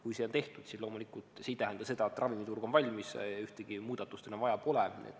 Kui see on tehtud, siis loomulikult ei tähenda see seda, et ravimiturg on valmis ja ühtegi muudatust enam vaja pole.